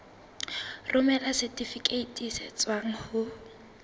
romela setifikeiti se tswang ho